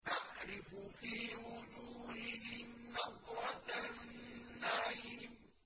تَعْرِفُ فِي وُجُوهِهِمْ نَضْرَةَ النَّعِيمِ